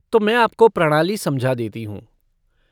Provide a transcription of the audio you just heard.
तो मैं आपको प्रणाली समझा देती हूँ।